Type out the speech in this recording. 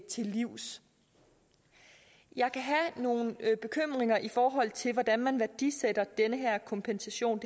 til livs jeg kan have nogle bekymringer i forhold til hvordan man værdisætter den her kompensation